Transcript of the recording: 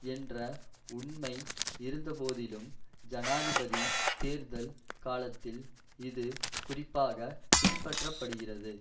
என்ற உண்மை இருந்த போதிலும் ஜனாதிபதி தேர்தல் காலத்தில் இது குறிப்பாக பின்பற்ற படுகிறது